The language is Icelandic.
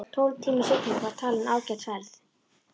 Tólf tíma sigling var talin ágæt ferð.